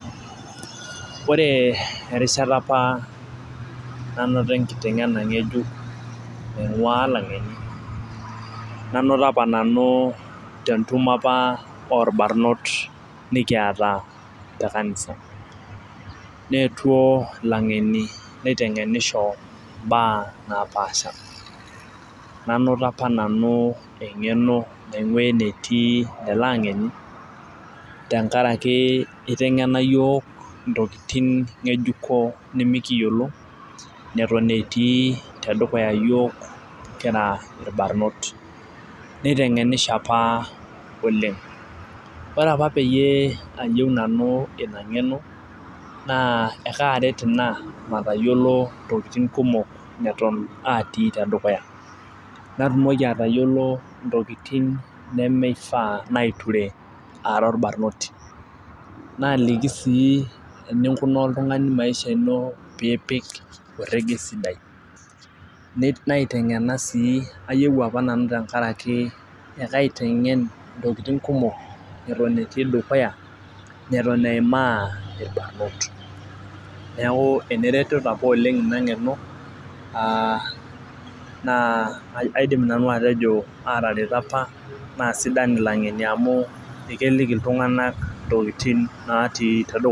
Ore erishata apa nanoto enakiteng'ena ngejuk, nainguaa ilang'eni nanoto apa nanu tentumo apa oolbarnot nikipata, te kanisa neetuo ilang'eni neitengenisho imbaa napaasha. nanoto apa nanu engeno naingua enetii lelo angeni. tenkaraki itengena iyiook intokitin ngejuko nimikiyiolo, netoni etii tedukuya iyiook kira irbarnot neitengenisho apa oleng. ore apa peyie ayieu nanu Ina ng'eno naa ekaaret Ina mayiolo intokitin kumok neton atii te dukuya. natumoki atayiolo intokitin nemeifaa nature ara orbanoti. naalik sii eninkunaa oltungani maisha ino pee ipik ireteni sidai. naitengena sii ayieu apa nanu tenkaraki, ekaitengen intokitin kumok neton etii dukuya ,neton eimaa ilbarnot. neeku ene retoto apa oleng Ina ng'eno, aa aidim nanu atejo aatareto apa naa sidan ilang'eni amu keliki iltunganak intokitin natii dukuya.